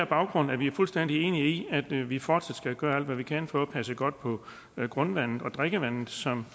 baggrund er vi fuldstændig enige i at vi vi fortsat skal gøre alt hvad vi kan for at passe godt på grundvandet og drikkevandet som